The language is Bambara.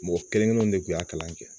Mɔgɔ kelen kelenw de kun y'a kalan kɛ